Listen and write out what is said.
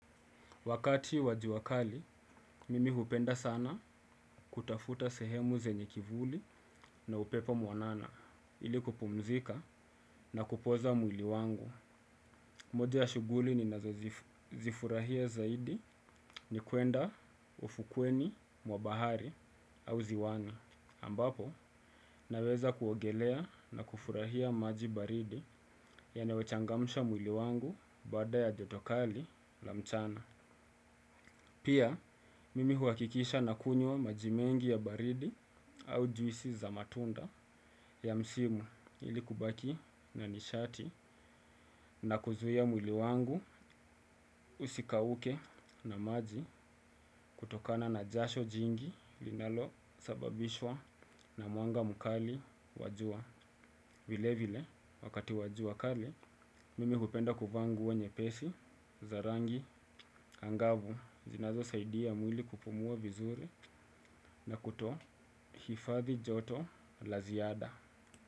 Wakati wa jua kali, mimi hupenda sana kutafuta sehemu zenye kivuli na upepo mwanana ili kupumzika na kupoza mwili wangu. Moja ya shughuli ni nazozifurahia zaidi ni kuenda ufukweni mwa bahari au ziwani. Ambapo, naweza kuogelea na kufurahia maji baridi yanayo changamsha mwili wangu baada ya joto kali la mchana. Pia, mimi huhakikisha na kunywa majimengi ya baridi au juisi za matunda ya msimu ili kubaki na nishati na kuzuia mwili wangu usikauke na maji kutokana na jasho jingi linalo sababishwa na mwanga mkali wajua. Vile vile wakati wajua kali, mimi hupenda kuvaa nguo nyepesi, zarangi, angavu, zinazo saidia mwili kupumua vizuri na kuto hifadhi joto laziada.